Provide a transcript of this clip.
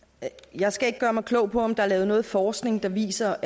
jeg skal ikke gøre mig klog på om der er lavet noget forskning der viser